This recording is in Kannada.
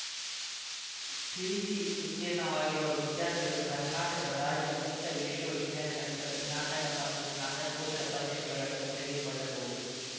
ಪಿಯುಸಿ ಉತ್ತೀರ್ಣವಾಗಿರುವ ವಿದ್ಯಾರ್ಥಿಗಳು ಕರ್ನಾಟಕ ರಾಜ್ಯ ಮುಕ್ತ ವಿಶ್ವವಿದ್ಯಾನಿಲಯ ನಡೆಸುವ ಸ್ನಾತಕ ಮತ್ತು ಸ್ನಾತಕೋತ್ತರ ಪರೀಕ್ಷೆಗಳನ್ನು ತೆಗೆದುಕೊಳ್ಳಬಹುದು